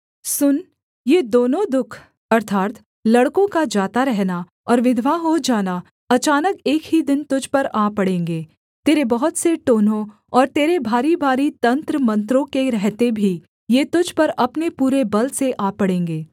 सुन ये दोनों दुःख अर्थात् लड़कों का जाता रहना और विधवा हो जाना अचानक एक ही दिन तुझ पर आ पड़ेंगे तेरे बहुत से टोन्हों और तेरे भारीभारी तंत्रमंत्रों के रहते भी ये तुझ पर अपने पूरे बल से आ पड़ेंगे